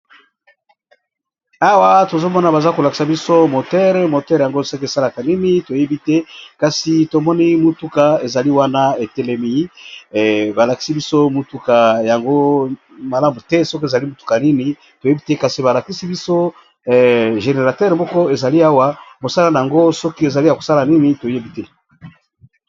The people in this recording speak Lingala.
Awa tozo mona baza ko lakisa biso moteur, moteur yango soki esalaka nini toyebi te kasi tomoni motuka ezali wana etelemi. Ba lakisi biso motuka yango malamu te soki ezali motuka nini toyebi te, kasi ba lakisi biso générateur moko ezali awa mosala nango soki ezali ya kosala nini toyebi te.